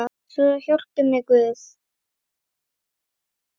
Svo hjálpi mér Guð.